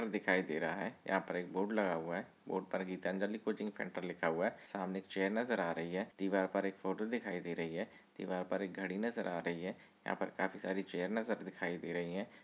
दिखाई दे रहा है। यहां पर एक बोर्ड लगा हुआ है। बॉर्ड पर गीतांजलि कोचिंग सेंटर लिखा हुआ है। सामने चेयर नजर आ रही है। दीवार पर एक फोटो दिखाई दे रही है। दीवार पर एक घड़ी नजर आ रही है। यहां पर काफी सारी चेयर नजर दिखाई दे रही है।